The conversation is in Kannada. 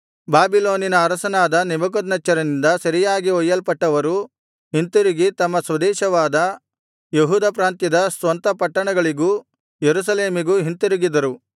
ಬಾಬಿಲೋನಿನ ಅರಸನಾದ ನೆಬೂಕದ್ನೆಚ್ಚರನಿಂದ ಸೆರೆಯಾಗಿ ಒಯ್ಯಲ್ಪಟ್ಟವರು ಹಿಂತಿರುಗಿ ತಮ್ಮ ಸ್ವದೇಶವಾದ ಯೆಹೂದ ಪ್ರಾಂತ್ಯದ ಸ್ವಂತ ಪಟ್ಟಣಗಳಿಗೂ ಯೆರೂಸಲೇಮಿಗೂ ಹಿಂತಿರುಗಿದರು